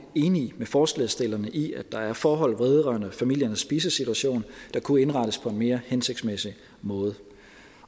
enig med forslagsstillerne i at der er forhold vedrørende familiernes spisesituation der kunne indrettes på en mere hensigtsmæssig måde